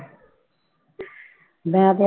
ਮੈਂ ਤੇ